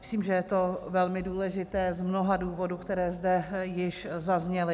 Myslím, že je to velmi důležité z mnoha důvodů, které zde již zazněly.